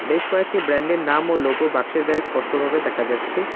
বেশ কয়েকটি ব্র্যান্ডের নাম ও লোগো বাক্সের গায়ে স্পষ্টভাবে দেখা যাচ্ছে।